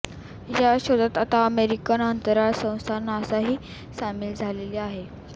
या शोधात आता अमेरिकन अंतराळ संस्था नासाही सामील झालेली आहे